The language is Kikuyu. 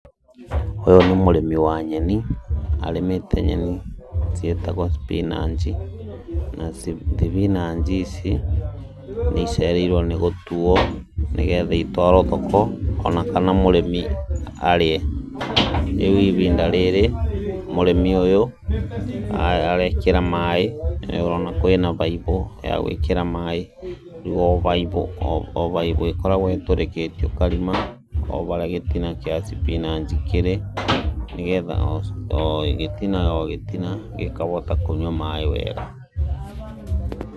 Ũyũ nĩ mũrĩmi wa nyeni, arĩmĩte nyeni ciĩtagwo thibinaci. Na thibinaci ici nĩ icereirwo nĩ gũtuo nĩ getha itwarwo thoko ona kana mũrĩmi arĩe. Rĩu ihinda rĩrĩ mũrĩmi ũyũ arekĩra maaĩ. Nĩũrona kwĩna baibũ ya gwĩkĩra maaĩ. O baibũ o baibũ ĩkoragwo ĩtũrĩkĩtio karima o harĩa gĩtina kĩa thibinaci kĩrĩ, nĩ getha o gĩtina o gĩtina gĩkahota kũnyua maaĩ wega.